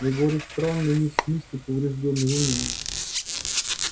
я говорю странный не в смысле повреждённый в уме